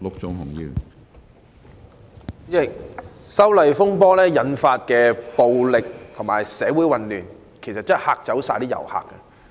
主席，修例風波引發的暴力事件和社會混亂真的是嚇走了所有遊客。